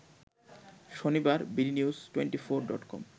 শনিবার BD news twenty four dot com